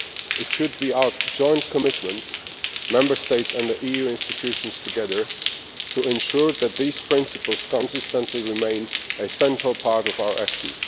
It should be our joint commitment Member States and the EU institutions together to ensure that these principles consistently remain a central part of our action.